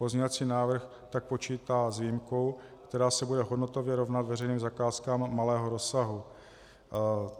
Pozměňovací návrh tak počítá s výjimkou, která se bude hodnotově rovnat veřejným zakázkám malého rozsahu.